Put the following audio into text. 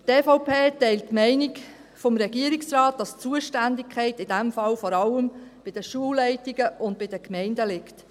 – Die EVP teilt die Meinung des Regierungsrates, dass die Zuständigkeit in diesem Fall vor allem bei den Schulleitungen und den Gemeinden liegt.